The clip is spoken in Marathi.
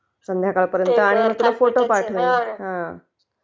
संध्याकाळ पर्यंत आणि तुला फोटो पाठवते..हा..हा